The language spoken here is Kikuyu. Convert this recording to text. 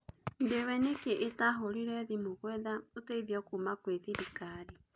Ndiwe niki itahũrire thimũ gũetha ũteithio kuuma kwi thirikari.